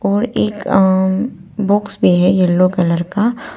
और एक अं अं बॉक्स भी है येलो कलर का।